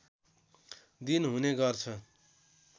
दिन हुने गर्छ